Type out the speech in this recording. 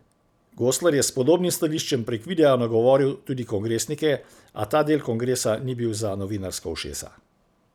Goslar je s podobnim stališčem prek videa nagovoril tudi kongresnike, a ta del kongresa ni bil za novinarska ušesa.